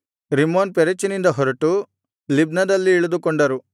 ರಿಮ್ಮೋನ್ ಪೆರೆಚಿನಿಂದ ಹೊರಟು ಲಿಬ್ನದಲ್ಲಿ ಇಳಿದುಕೊಂಡರು